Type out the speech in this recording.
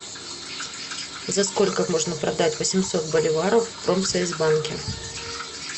за сколько можно продать восемьсот боливаров в промсвязьбанке